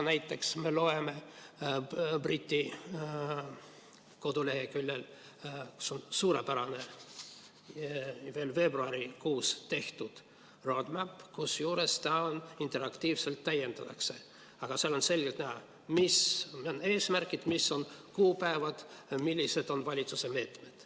Näiteks on Suurbritannia koduleheküljel suurepärane, veel veebruarikuus tehtud roadmap – kusjuures seda interaktiivselt täiendatakse –, kust on selgelt näha, mis on eesmärgid, mis on kuupäevad ja millised on valitsuse meetmed.